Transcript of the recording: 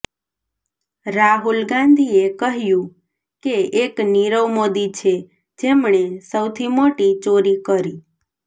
રાહુલ ગાંધીએ કહ્યું કે એક નીરવ મોદી છે જેમણે સૌથી મોટી ચોરી કરી